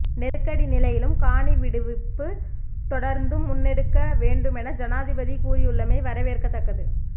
நெருக்கடி நிலையிலும் காணி விடுவிப்பு தொடர்ந்தும் முன்னெடுக்க வேண்டுமென ஐனாதிபதி கூறியுள்ளமை வரவேற்கத்தக்கது